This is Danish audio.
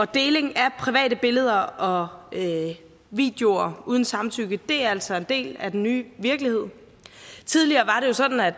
deling af private billeder og videoer uden samtykke er altså en del af den nye virkelighed tidligere var det jo sådan at